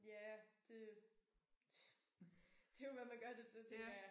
Ja det det jo hvad man gør det til tænker jeg